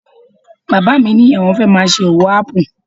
Bàbá mi ní àwọn fẹ́ máa ṣe owó ápù